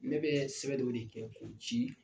Ne bɛ sɛbɛ dɔ de kɛ ko ci